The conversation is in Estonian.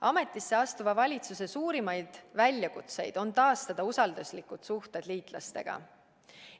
Ametisse astuva valitsuse suurimaid väljakutseid on taastada usalduslikud suhted liitlastega.